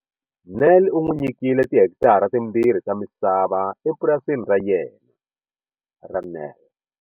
Nel u n'wi nyikile tihekitara timbirhi ta misava epurasini ra yena, ra Nel.